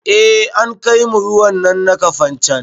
Eh an kaimu ruwan nan na kafancan